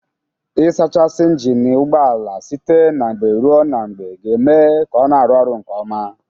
Ị sachasị ịnjịnị ụgbọala site na mgbe ruo na mgbe ga-eme ka ọ na-arụ ọrụ nke ọma.